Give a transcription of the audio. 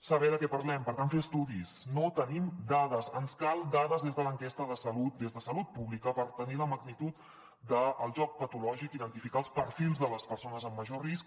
saber de què parlem per tant fer estudis no tenim dades ens calen dades des de l’enquesta de salut des de salut pública per tenir la magnitud del joc patològic identificar els perfils de les persones amb major risc